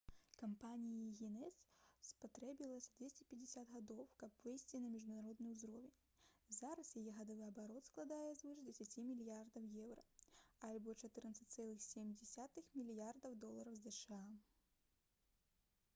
кампаніі «гінэс» спатрэбілася 250 гадоў каб выйсці на міжнародны ўзровень. зараз яе гадавы абарот складае звыш 10 мільярдаў еўра альбо 14,7 мільярда долараў зша